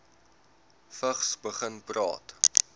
vigs begin praat